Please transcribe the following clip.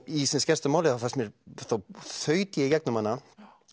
í sem skemmstu máli þá þaut ég í gegnum hana